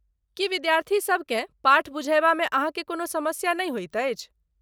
की विद्यार्थीसबकेँ पाठ बुझयबामे अहाँकेँ कोनो समस्या नहि होइत अछि?